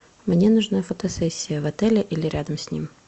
мне нужна фотосессия в отеле или рядом с ним